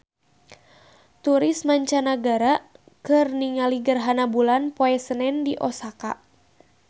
Turis mancanagara keur ningali gerhana bulan poe Senen di Osaka